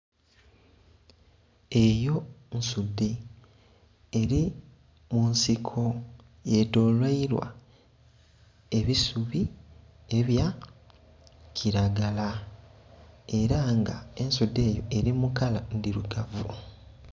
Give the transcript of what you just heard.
Eyo nsudhe eri munsiko yetolweilwa ebisubi ebya kilagala era nga ensudhe enho eri mu kala endhirugavu.